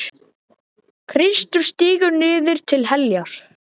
Kristur stígur niður til heljar.